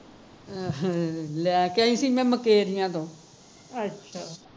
ਅਹ ਲੈ ਕੇ ਆਈ ਸੀ ਮੈਂ ਮੁਕੇਰੀਆ ਤੋਂ